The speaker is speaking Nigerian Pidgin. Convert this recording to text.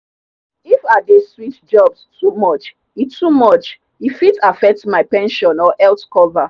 if i dey switch jobs too much e too much e fit affect my pension or health cover.